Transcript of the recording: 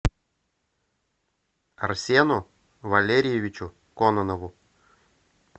арсену валерьевичу кононову